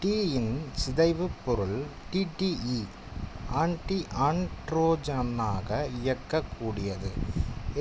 tea யின் சிதைவுப் பொருள் டி டி ஈ ஆண்டிஆண்ட்ரோஜென்னாக இயங்கக் கூடியது